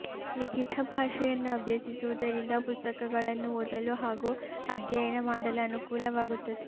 ಲಿಖಿತ ಭಾಷೆಯನ್ನು ಅಭ್ಯಸಿಸುವುದರಿಂದ ಪುಸ್ತಕಗಳನ್ನು ಓದಲು ಹಾಗೂ ಅಧ್ಯಯನ ಮಾಡಲು ಅನುಕೂಲವಾಗುತ್ತದೆ